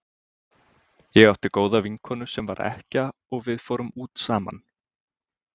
Ég átti góða vinkonu sem var ekkja og við fórum út saman.